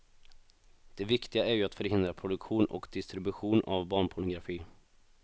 Det viktiga är ju att förhindra produktion och distribution av barnpornografi.